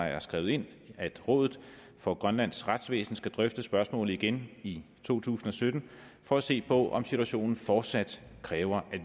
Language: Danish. er skrevet ind at rådet for grønlands retsvæsen skal drøfte spørgsmålet igen i to tusind og sytten for at se på om situationen fortsat kræver at